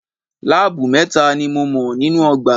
Láábù mẹ́ta ni mo mọ̀ nínú ọgbà.